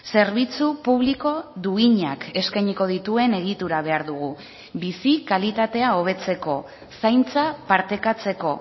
zerbitzu publiko duinak eskainiko dituen egitura behar dugu bizi kalitatea hobetzeko zaintza partekatzeko